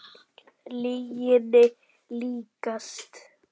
Lyginni líkast.